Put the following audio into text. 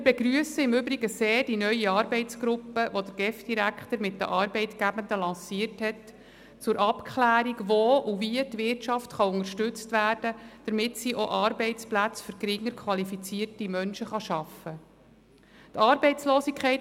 Wir begrüssen im Übrigen die neue Arbeitsgruppe sehr, die der GEF-Direktor mit den Arbeitgebenden zur Abklärung lanciert hat, wo und wie die Wirtschaft unterstützt werden kann, damit sie auch Arbeitsplätze für geringer qualifizierte Menschen schaffen kann.